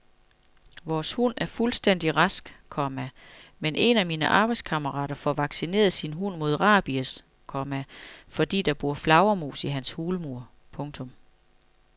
Vores hund er fuldstændig rask, komma men en af mine arbejdskammerater får vaccineret sin hund mod rabies, komma fordi der bor flagermus i hans hulmur. punktum